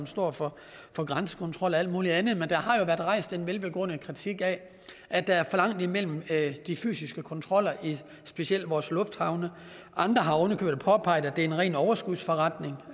står for for grænsekontrol og alt muligt andet men der har jo været rejst en velbegrundet kritik af at der er for langt imellem de fysiske kontroller i specielt vores lufthavne andre har ovenikøbet påpeget at det er en ren overskudsforretning